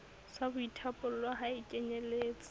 sa boithapollo ha e kenyeletse